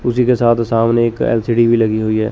उसी के साथ सामने एक एल_सी_डी भी लगी हुई है।